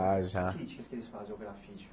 Ah já Que críticas que eles fazem ao grafite?